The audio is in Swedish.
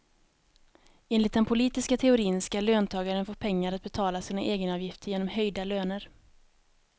Enligt den politiska teorin ska löntagarna få pengar att betala sina egenavgifter genom höjda löner.